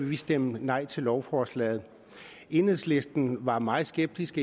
ville stemme nej til lovforslaget enhedslisten var meget skeptisk